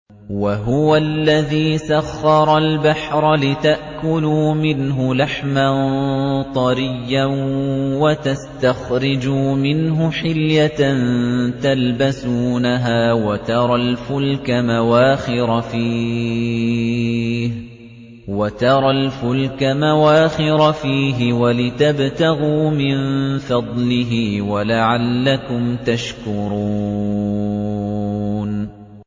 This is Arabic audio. وَهُوَ الَّذِي سَخَّرَ الْبَحْرَ لِتَأْكُلُوا مِنْهُ لَحْمًا طَرِيًّا وَتَسْتَخْرِجُوا مِنْهُ حِلْيَةً تَلْبَسُونَهَا وَتَرَى الْفُلْكَ مَوَاخِرَ فِيهِ وَلِتَبْتَغُوا مِن فَضْلِهِ وَلَعَلَّكُمْ تَشْكُرُونَ